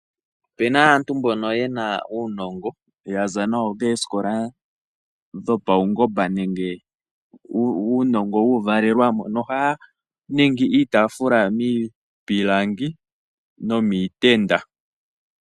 Opuna aantu mboka yena uunongo yaza nawo koosikola dhopawugomba nenge uuvalelwamo nongo aantu mbaka ohaaningi iitafula miipilangi nomiitenda.